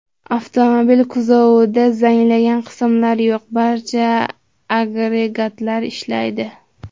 Avtomobil kuzovida zanglagan qismlar yo‘q, barcha agregatlar ishlaydi.